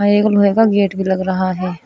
एक लोहे का गेट भी लग रहा है।